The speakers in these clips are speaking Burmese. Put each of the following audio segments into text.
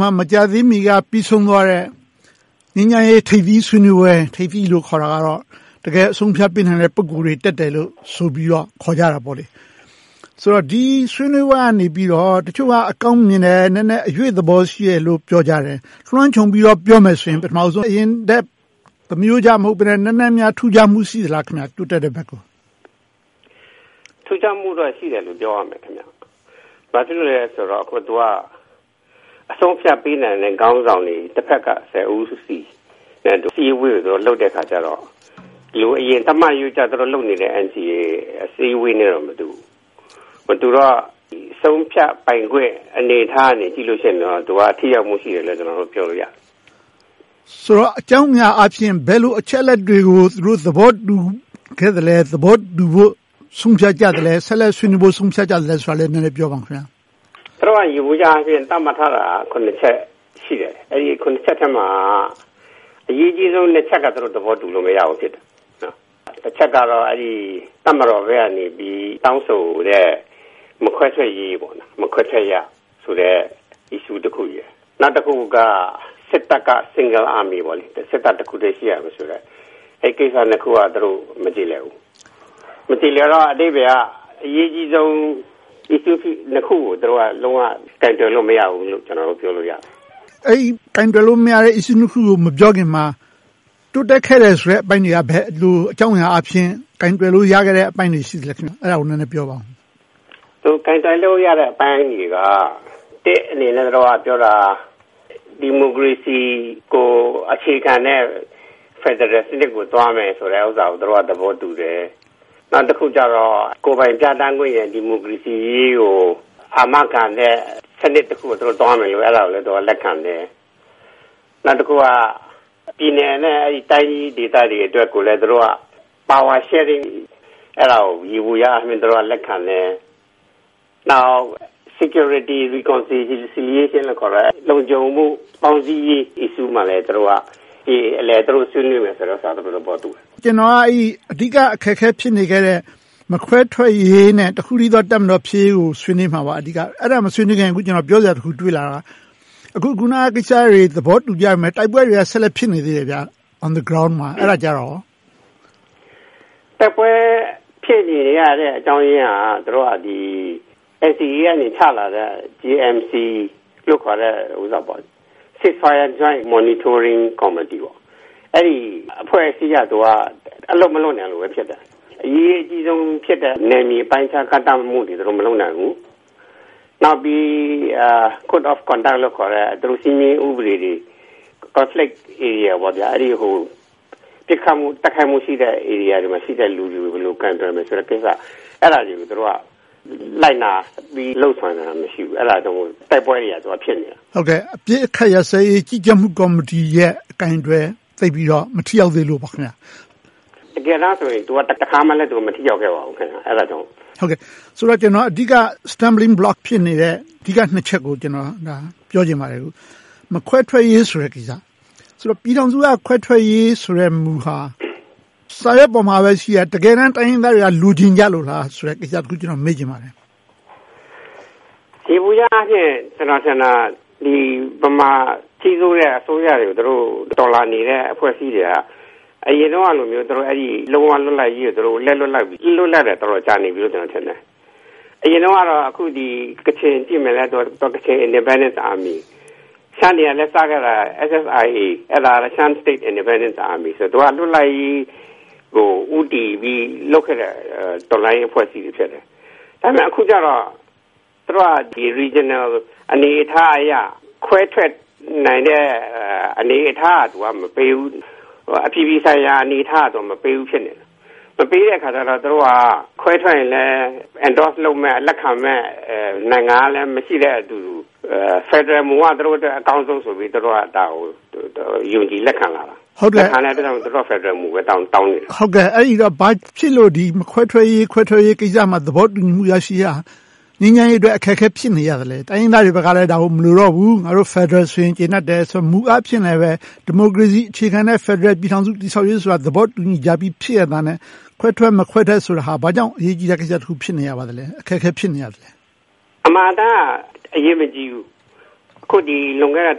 မှာ မကြာသေးမီက ပြီးဆုံးသွားခဲ့တဲ့ ငြိမ်းချမ်းရေးထိပ်သီးဆွေးနွေးပွဲ - ထိပ်သီးလို့ခေါ်တာကတော့ တကယ့်အဆုံးအဖြတ်ပေးနိုင်တဲ့ ပုဂ္ဂိုလ်တွေ တက်တယ်လို့ ဆိုပြီးတော့ ခေါ်ကြတာပေါ့။ ဒီဆွေးနွေးပွဲကနေ တချို့က အကောင်းမြင်တယ်။ နည်းနည်းအရွေ့သဘောရှိတယ်လို့ ပြောကြတယ်။ လွှမ်းခြုံပြီးတော့ ပြောမယ်ဆိုရင် အရင်ထက် သာမရိုးကျမဟုတ်ဘဲနဲ့ နည်းနည်းများ ထူးခြားမှု ရှိပါသလား။ တိုးတက်တဲ့ဘက်ကို။ စိုင်းဝမ်ဆိုင် ။ ။ ထူးခြားမှုတော့ ရှိတယ်လို့ ပြောရမယ်။ ဘာဖြစ်လို့လဲဆိုတော့ သူက အဆုံးအဖြတ် ပေးနိုင်တဲ့ ခေါင်းဆောင်တွေ တဘက်က ဆယ်ဦးစီ ဒီအစည်းအဝေးကို လုပ်တဲ့အခါကြတော့ အရင်သူတို့လုပ်နေကြ NCA အစည်းအဝေးနဲ့တော့ မတူဘူး။ မတူတော့ အဆုံးအဖြတ်ပိုင်းခွင့် အနေအထားကနေကြည့်ရင်တော့ ထိရောက်မှုရှိတယ်လို့ ပြောလို့ရတယ်။ ဦးကျော်ဇံသာ ။ ။ ဆိုတော့ အကြောင်းအရာအားဖြင့် ဘယ်လိုအချက်အလက်တွေကို သူတို့ သဘောတူခဲ့သလဲ။ သဘောတူဖို့ ဆုံးဖြတ်ကြသလဲ။ ဆက်လက်ဆွေးနွေးဖို့ ဆုံးဖြတ်ကြသလဲဆိုတာကို နည်းနည်းပြောပါ။ စိုင်းဝမ်ဆိုင် ။ ။ သူတို့ ယေဘုယျအားဖြင့် သတ်မှတ်ထားတာ ချက် ရှိတယ်။ အဲဒီ ချက်ထဲမှာ အရေးကြီးဆုံး ချက်က သဘောတူလို့ မရဘူး ဖြစ်နေတယ်။ တစ်ချက်ကတော့ တပ်မတော်ဘက်ကနေ တောင်းဆိုတဲ့ မခွဲထွက်ရေးဆိုတဲ့ Issue တစ်ခု။ နောက်တစ်ခုက စစ်တပ်က Single Army စစ်တပ်တစ်ခုတည်း ရှိရမယ်ဆိုတဲ့ အဲဒီနှစ်ခုကို သူတို့မကျေလည်ဘူး။ မကျေလည်တော့ အဓိပ္ပါယ်က အရေးကြီးဆုံး ဒီနှစ်ခုကို သူတို့လုံးဝ ကိုင်တွယ်လို့ မရဘူးလို့ ကျနော်တို့ ပြောလို့ရတယ်။ ဦးကျော်ဇံသာ ။ ။ အဲဒီ ကိုင်တွယ်လို့မရတဲ့ Issue နှစ်ခုကို မပြောခင်မှာ တိုးတက်ခဲ့တယ်ဆိုတဲ့ အပိုင်းတွေက ဘယ်လိုအကြောင်းအရာအားဖြင့် ကိုင်တွယ်လို့ရခဲ့တဲ့ အပိုင်းတွေ ရှိခဲ့သလဲ။ အဲဒါကို နည်းနည်းပြောပါအုံး။ စိုင်းဝမ်ဆိုင် ။ ။ ကိုင်တွယ်လို့ရတဲ့အပိုင်းတွေက ဒီမိုကရေစီကို အခြေခံတဲ့ ဖယ်ဒရယ်စနစ်ကို သွားမယ်ဆိုတာကို သဘောတူတယ်။ နောက်တခုကြတော့ ကိုယ်ပိုင်ပြဌာန်းခွင့်နဲ့ ဒီမိုကရေစီရေးကို အာမခံတဲ့ စနစ်တခုကို သွားမယ်ဆိုတာကိုလည်း လက်ခံတယ်။ နောက်တခုက ပြည်နယ်နဲ့ တိုင်းကြီးဒေသတွေအတွက်ကို သူတို့က Power Sharing ယေဘုယျအားဖြင့် လက်ခံတယ်။ နောက် Security Reconciliation ခေါ်တဲ့ လုံခြုံမှုပေါင်းစည်းရေးကိုလည်း အကျေအလည် ဆွေးနွေးမယ်လို့ သဘောတူတယ်။ ဦးကျော်ဇံသာ ။ ။ ကျနော်က အဲဒီ အဓိကအခက်အခဲ ဖြစ်နေခဲ့တဲ့ မခွဲထွက်ရေးနဲ့ တစ်ခုတည်းသော တပ်မတော်ဖြစ်ရေးကို ဆွေးနွေးမှာပါ။ အဲဒါကိုမပြောခင် ပြောစရာတစ်ခု တွေ့တာက အခုနကိစ္စတွေ သဘောတူကြပေမယ့် တိုက်ပွဲတွေက ဆက်လက်ဖြစ်နေသေးတယ်။ On the ground မှာ အဲဒါကို ဘယ်လိုပြောမလဲ။ စိုင်းဝမ်ဆိုင် ။ ။ တိုက်ပွဲဖြစ်နေရတဲ့အကြောင်းရင်းက သူတို့က NCA က ချလာတဲ့ JMC – Joint Monitoring Committee အဲဒီအဖွဲ့အစည်းက အလုပ်မလုပ်နိုင်လို့ဘဲ ဖြစ်တယ်။ အရေးကြီးဆုံးဖြစ်တဲ့ နယ်မြေပိုင်ခြားသတ်မှတ်မှုတွေ သူတို့မလုပ်နိုင်ဘူး။ နောက်ပြီး Code of Conduct လို့ခေါ်တဲ့ စည်းမျဉ်းဥပဒေတွေကို Conflict Area ပစ်ခတ်တိုက်ခိုက်မှုရှိတဲ့ နယ်မြေမှာရှိတဲ့ လူတွေကို ဘယ်လိုကိုင်တွယ်မလဲ ဆိုတာတွေကို သူတို့က လိုက်နာပြီးလုပ်ဆောင်တာ မရှိဘူး။ အဲဒါကြောင့် တိုက်ပွဲတွေက ဖြစ်နေတာ။ ဦးကျော်ဇံသာ ။ ။ အပစ်အခတ်ရပ်စဲရေး ကြီးကြပ်မှုကော်မတီရဲ့ အကိုင်အတွယ် သိပ်ပြီးတော့ မထိရောက်သေးလို့ပေါ့။ စိုင်းဝမ်ဆိုင် ။ ။ တကယ်တမ်းဆိုရင် သူက တခါမှ မထိရောက်ခဲ့ပါဘူး။ အဲဒါကြောင့်။ ဦးကျော်ဇံသာ ။ ။ ဆိုတော့ အဓိက Stumbling Block ဖြစ်နေတဲ့ အဓိကနှစ်ချက်ကို ပြောချင်ပါတယ်။ မခွဲထွက်ရေးဆိုတဲ့ကိစ္စ။ ပြည်ထောင်စုက ခွဲထွက်ရေးမူဟာ စာရွက်ပေါ်မှာပဲရှိတယ်။ တကယ်တမ်း တိုင်းရင်းသားတွေက လိုချင်ကြလို့လားဆိုတဲ့ ကိစ္စကို မေးချင်ပါတယ်။ စိုင်းဝမ်ဆိုင် ။ ။ ယေဘုယျအားဖြင့် ကျနော်ထင်တာ ဗမာကြီးစိုးတဲ့အစိုးရတွေကို တော်လှန်နေတဲ့ အဖွဲ့အစည်းတွေက အရင်တုန်းကလို လုံးဝလွတ်လပ်ရေးကို သူတို့ လက်လွှတ်လိုက်ပြီ။ တော်တော်ကြာပြီလို့ ကျနော်ထင်တယ်။ အရင်တုန်းကတော့ ကချင်လွတ်လပ်ရေး Kachin Independence Army, ရှမ်းတွေကလည်း SSIA – Shan State Independence Army လွတ်လပ်ရေးကို ဦးတည်ပြီးလုပ်ခဲ့တဲ့ အဖွဲ့အစည်းတွေ ဖြစ်တယ်။ အခုကြတော့ သူတို့က Regional အနေအထားအရ ခွဲထွက်နိုင်တဲ့ အနေအထားက မပေးဘူး။ အပြည်ပြည်ဆိုင်ရာ အနေအထားက မပေးဘူးဖြစ်နေတယ်။ မပေးတဲ့အခါကြတော့ ခွဲထွက်ရင်လဲ Endorse လုပ်မယ့်၊ လက်ခံမယ့် နိုင်ငံက မရှိတဲ့အတူတူ ဖယ်ဒရယ်မူက အကောင်းဆုံးဆိုပြီး သူတို့က ဒါကို ယုံကြည်လက်ခံလာတာ။ အဲဒါကြောင့် သူတို့က ဖယ်ဒရယ်မူပဲ တောင်းနေခဲ့တယ်။ ဦးကျော်ဇံသာ ။ ။ အဲဒါဆို ဘာဖြစ်လို့ ခွဲထွက်ရေးကိစ္စမှာ သဘောတူညီမှု ရရှိရေးဟာ ငြိမ်းချမ်းရေးအတွက် အခက်အခဲ ဖြစ်နေရသလဲ။ တိုင်းရင်းသားတွေဘက်က ဒါကို မလိုတော့ဘူး။ ဖယ်ဒရယ်ဆိုရင် ကျေနပ်တယ်လို့ မူအားဖြင့်လဲ ဒီမိုကရေစီအခြေခံတဲ့ ဖယ်ဒရယ်ပြည်ထောင်စု တည်ဆောက်ကြရေးဆိုတာ ဖြစ်နေရဲ့သားနဲ့ ခွဲထွက်၊ မခွဲထွက်ဆိုတာ ဘာကြောင့် အရေးကြီးတဲ့ကိစ္စတခု ဖြစ်နေပါလဲ။ အခက်အခဲ ဖြစ်နေရသလဲ။ စိုင်းဝမ်ဆိုင် ။ ။ အမှန်အတိုင်းက အရေးမကြီးဘူး။ အခုလွန်ခဲ့တဲ့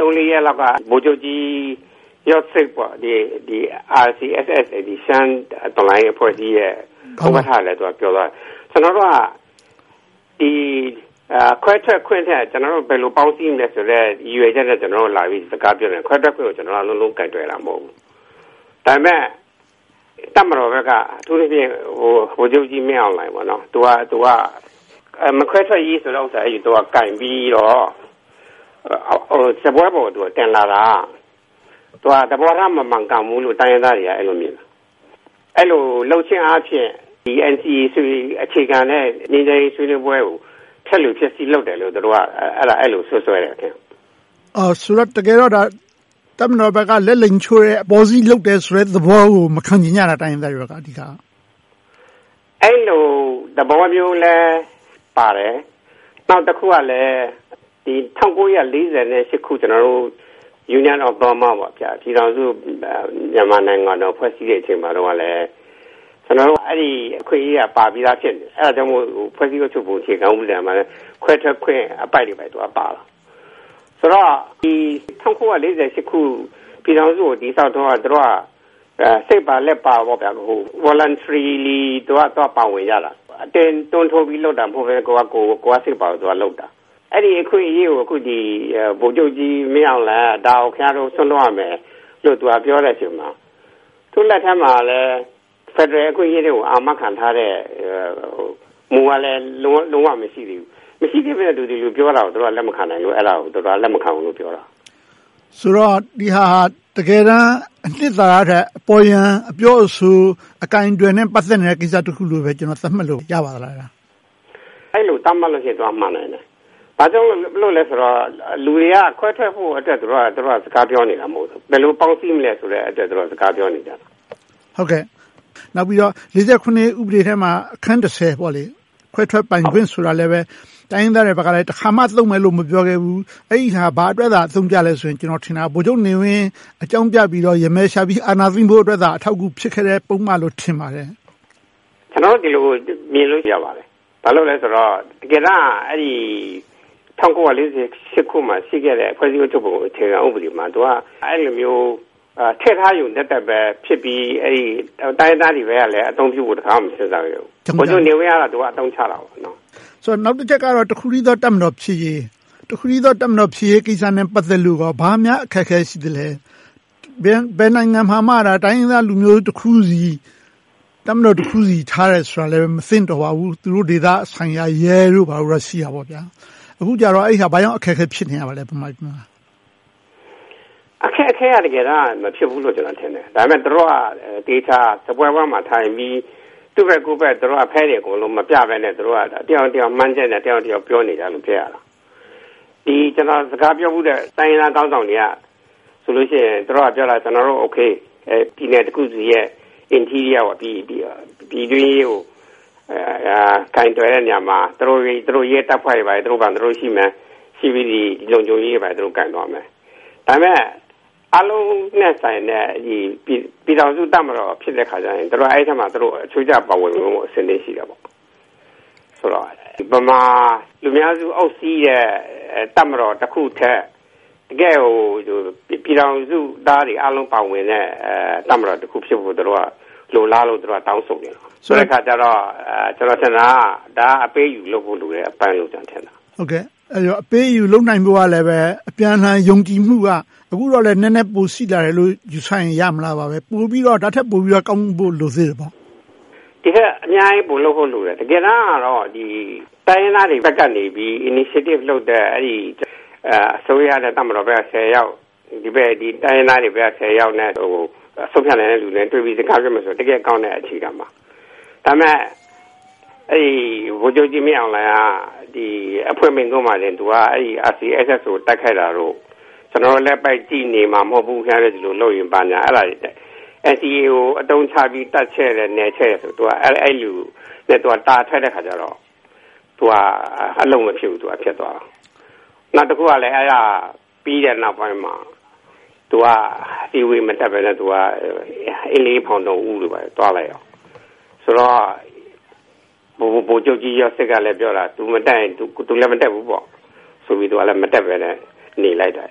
သုံးလေးရက်လောက်က ဗိုလ်ချုပ်ကြီး ရော်ဒ်ဆက် RCSS ရှမ်းတော်လှန်ရေးဥက္ကဋ္ဌလည်း ပြောသွားတယ် - ကျနော်တို့က ခွဲထွက်ခွင့်ထက် ဘယ်လိုပေါင်းစည်းမလဲဆိုတဲ့ ရည်ရွယ်ချက်နဲ့ စကားလာပြောတယ်။ ခွဲထွက်ခွင့်ကို လုံးလုံးကိုင်တွယ်တာ မဟုတ်ဘူး။ ဒါပေမဲ့ တပ်မတော်ဘက်က အထူးသဖြင့် ဗိုလ်ချုပ်မှူးကြီးမင်းအောင်လှိုင် က မခွဲထွက်ရေးဆိုတဲ့ မူကိုကိုင်ပြီးတော့ စားပွဲပေါ် တင်လာတာကို သဘောထားမမှန်ကန်ဘူးလို့ တိုင်းရင်းသားတွေက မြင်တယ်။ အဲဒီလိုလုပ်ခြင်းအားဖြင့် NCA အခြေခံနဲ့ ငြိမ်းချမ်းရေးဆွေးနွေးပွဲကို ဖျက်လိုဖျက်ဆီး လုပ်တယ်လို့ သူတို့က အဲဒီလိုစွပ်စွဲတယ်။ ဦးကျော်ဇံသာ ။ ။ တကယ်တော့ ဒါက တပ်မတော်ဘက်က လက်လိမ်ချိုး အပေါ်စီးလုပ်တယ်ဆိုတဲ့ သဘောကို တိုင်းရင်းသားတွေက မခံချင်ကြတာ။ စိုင်းဝမ်ဆိုင် ။ ။ အဲဒီလိုသဘောမျိုးလည်းပါတယ်။ နောက်တခုကလဲ ၁၉၄၈ ခု Union of Burma ပြည်ထောင်စုမြန်မာနိုင်ငံ ဖွဲ့စည်းတဲ့အချိန်မှာတုန်းက အဲဒီအခွင့်အရေးက ပါပြီသာ ဖြစ်နေတယ်။ ဒါကြောင့်မို့ ဖွဲ့စည်းအုပ်ချုပ်ပုံက ခွဲထွက်ခွင့်အပိုဒ်တွေ ပါခဲ့တာ။ ဆိုတော့ ၁၉၄၈ ခု ပြည်ထောင်စုကို တည်ဆောက်တုန်းက သူတို့က စိတ်ပါလက်ပါ Voluntrily ပါဝင်ကြတာ။ အတင်းအဓမ္မကြောင့် လုပ်တာမဟုတ်ဘဲ ကိုယ့်ဘာသာကိုယ် ပါဝင်လုပ်ကြတာ။ အဲဒီအခွင့်အရေးကို ဗိုလ်ချုုပ်မှူးကြီးမင်းအောင်လှိုင် က ဒါကို ခင်များတို့ စွန့်လွှတ်ရမယ်လို့ ပြောတဲ့အချိန်မှာ သူ့လက်ထဲမှာလည်း ဖယ်ဒရယ်အခွင့်အရေးတွေကို အာမခံထားတဲ့ မူကလည်း လုံးဝမရှိသေးဘူး။ မရှိသေးဘဲနဲ့ ဒီလိုပြောတာကို တိုင်းရင်းသားတွေက လက်မခံနိုင်တာကို လက်မခံဘူးလို့ပြောတာ။ ဦးကျော်ဇံသာ ။ ။ ဆိုတော့ ဒီဟာက တကယ်တမ်း အနစ်သာရထက် အပေါ်ယံအပြောအဆို၊ အကိုင်အတွယ်နဲ့ ပတ်သက်နေတဲ့ကိစ္စတခုလို့ သတ်မှတ်လို့ ရပါသလား။ စိုင်းဝမ်ဆိုင် ။ ။ အဲဒီလို သတ်မှတ်လိုက်ရင် မှန်နိုင်တယ်။ ဘာကြောင့်လဲဆိုတော့ လူတွေက ခွဲထွက်ဖို့အတွက် သူတို့က စကားပြောနေကြတာ မဟုတ်ဘူး။ ဘယ်လိုပေါင်းစည်းမလဲအတွက် စကားပြောကြတာ။ ဦးကျော်ဇံသာ ။ ။ နောက်ပြီးတော့ ၄၇ ခုနှစ် ဥပဒေထဲမှာ အခန်း ခွဲထွက်ပိုင်ခွင့်ဆိုတာကိုလည်း တိုင်းရင်းသားတွေဘက်က တခါမှ သုံးမယ်လို့ မပြောခဲ့ဘူး။ အဲဒါ ဘာအတွက်သာ အသုံးကျသလဲဆိုရင် ကျနော်ထင်တာ ဗိုလ်ချုပ်နေဝင်း အကြောင်းပြပြီးတော့ ယမယ်ရှာပြီး အာဏာသိမ်းဖို့ ဖြစ်ခဲ့တဲ့ ပုဒ်မလို့ ထင်ပါတယ်။ စိုင်းဝမ်ဆိုင် ။ ။ ကျနော်တို့ အဲဒီလိုမြင်လို့ ရပါတယ်။ ဘာဖြစ်လို့လဲဆိုတော့ တကယ်တမ်းက ၁၉၄၈ ခုနှစ်မှာ ရှိခဲ့တဲ့ ဖွဲ့စည်းအုပ်ချုပ်ပုံ အခြေခံမှာ သူတို့က အဲဒီလိုမျိုး ထည့်ထားရုံသက်သက်ပဲ ဖြစ်ခဲ့ပြီး တိုင်းရင်းသားတွေဘက်ကလည်း အသုံးချဖို့ တခါမှ မစဉ်းစားခဲ့ဘူး။ ဗိုလ်ချုပ်ကြီးနေဝင်းကတော့ အသုံးချခဲ့တယ်။ ဦးကျော်ဇံသာ ။ ။ နောက်တချက်ကတော့ တစ်ခုတည်းသော တပ်မတော်ဖြစ်ရေး - တစ်ခုတည်းသော တပ်မတော်ဖြစ်ရေးကိစ္စနဲ့ ပတ်သက်လိုကော ဘာများအခက်အခဲ ရှိသလဲ။ ဘယ်နိုင်ငံမှာမှ တိုင်းရင်းသားလူမျိုးတခုစီ တပ်မတော်တခုစီ ထားရှိတာလည်း မသင့်တော်ပါဘူး။ သူတို့ဒေသဆိုင်ရာ ရဲတို့ဘာတို့ပဲ ရှိကြတယ်။ အခုဟာ ဘာကြောင့် မြန်မာပြည်မှာ အခက်အခဲ ဖြစ်နေတာလဲ။ စိုင်းဝမ်ဆိုင် ။ ။ အခက်အခဲက တကယ်တမ်း မဖြစ်ဘူးလို့ ကျနော်ထင်တယ်။ ဒါပေမဲ့ သူတို့က သေချာစားပွဲဝိုင်းမှာထိုင်ပြီး သူ့ဘက်ကိုယ့်ဘက် ဖဲတွေကို မပြဘဲနဲ့ တယောက်နဲ့တယောက် မှန်းချက်နဲ့ ပြောနေကြလို့ ဖြစ်ရတာ။ ကျနော် စကားပြောဖူးတဲ့ တိုင်းရင်းသားခေါင်းဆောင်တွေက ပြောတာဆိုရင် သူတို့က အိုကေ ပြည်နယ်တခုစီရဲ့ Interior ပြည်နယ်အရေးကို ကိုင်တွယ်တဲ့နေရာမှာ သူတို့ရဲတပ်ဖွဲ့တွေ သူတို့ဘာသာသူတို့ ရှိမယ်။ လုံခြုံရေးကို သူတို့ ကိုင်တွယ်သွားမယ်။ ဒါပေမဲ့ အားလုံးနဲ့ဆိုင်တဲ့ ပြည်ထောင်စုတပ်မတော် ဖြစ်တဲ့အခါမှာ သူတို့ အဲဒီအထဲမှာ အချိုးအကျ ပါဝင်ဖို့ အဆင်သင့် ရှိကြတယ်။ ဆိုတော့ ဗမာလူမျိုးစုအများစု အုပ်စီးတဲ့ တပ်မတော်တခုထက် တကယ်ကို ပြည်ထောင်စုသားတွေအားလုံး ပါဝင်တဲ့ တပ်မတော်တခု လိုလားလို့ သူတို့က တောင်းဆိုနေကြတာ။ ဆိုတဲ့အခါကြတော့ ဒါက အပေးအယူလုပ်ဖို့လိုတယ်။ ဦးကျော်ဇံသာ ။ ။ အပေးအယူလုပ်နိုင်ဖို့ကလဲ အပြန်အလှန် ယုံကြည်မှုကလည်း အခုက ပိုရှိလာတယ်လို့ ယူဆရင် ရမလား။ ဒါထက်ပိုပြီးတော့ ကောင်းဖို့ိ လိုသေးသလား။ စိုင်းဝမ်ဆိုင် ။ ။ အများကြီးပိုလုပ်ဖို့ လိုတယ်။ တကယ်တမ်းကတော့ တိုင်းရင်းသားတွေဘက်ကနေ Initiative လုပ်တဲ့ အစိုးရနဲ့ တပ်မတော်ဘက်က ဆယ်ယောက်၊ တိုင်းရင်းသားတွေဘက်က ဆယ်ယောက် ဆုံးဖြတ်နိုင်တဲ့လူတွေ တွေ့ပြီး စကားပြောနိုင်ရင်ကောင်းတဲ့ အခြေခံပါ။ ဒါပေမဲ့ ဗိုလ်ချုပ်မှူးကြီးမင်းအောင်လှိုင်က အဖွင့်မိန့်ခွန်းမှာပင် RCSS ကို တိုက်ခိုက်လာလို့.. ကျနော်တို့ လက်ပိုက်ကြည့်နေမှာ မဟုတ်ဘူး။ ခင်များတို့ ဒီလိုလုပ်ရင် ဘာညာ အဲဒါတွေနဲ့ NCA ကို အသုံးချပြီး တပ်ဖြန့်တယ်၊ နယ်ချဲ့တယ်.. အဲဒီလို သူက တာထွက်တဲ့အခါကြတော့ အလုပ်မဖြစ်ဘူး ဖြစ်သွားတယ်။ နောက်တခုက အဲဒါပြီးတဲ့နောက်ပိုင်းမှာ သူက အစည်းအဝေး မတက်ဘဲနဲ့ အင်းလေးဖောင်တော်ဦးတို့ ဘာတို့ သွားလိုက်တယ်ဆိုတော့ ဗိုလ်ချုပ်ကြီးရော့ဒ်ဆက်ကလည်း ပြောတာက သူမတက်ရင် သူလည်းမတက်ဘူးဆိုပြီး နေလိုက်တယ်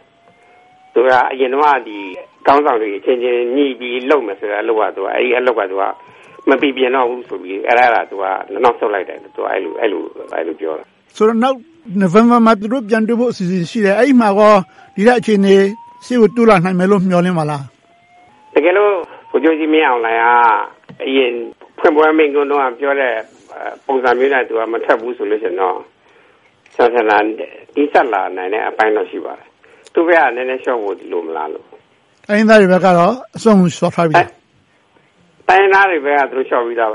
။ အရင်တုန်းက ခေါင်းဆောင်တွေအချင်းချင်း ညှိပြီးလုပ်မယ်ဆိုတဲ့ အလုပ်က မပီပြင်တော့ဘူးဆိုပြီး နောက်ဆုတ်လိုက်တယ်ဆိုပြီး သူက ပြောတာ။ ဦးကျော်ဇံသာ ။ ။ နိုဝင်ဘာမှာ သူတို့ပြန်တွေ့ဖို့ အစီအစဉ်ရှိတယ်။ အဲဒီမှာ ဒီထက်အခြေအနေကောင်း ရှေ့ကိုတိုးလာနိုင်မယ်လို့ မျှော်လင့်ပါသလား။ စိုင်းဝမ်ဆိုင် ။ ။ တကယ်လို့ ဗိုလ်ချုပ်မှူးကြီးမင်းအောင်လှိုင်က အရင်ဖွင့်ပွဲမှာပြောတဲ့ ပုံစံနဲ့ မထွက်ဘူးဆိုရင်တော့ တိုးတက်လာနိုင်တဲ့အပိုင်းတော့ ရှိပါတယ်။ သူဘက်က နည်းနည်းလျှော့ဖို့ လိုမလားလို့။ ဦးကျော်ဇံသာ ။ ။ တိုင်းရင်းသားတွေဘက်ကတော့ အစွမ်းကုန်လျှော့ထားပြီပေါ့။ စိုင်းဝမ်ဆိုင် ။ ။ တိုင်းရင်းသားတွေဘက်ကတော့ သူတို့လျှော့ပြီသားပ